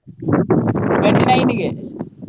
twenty nine ಗೆ.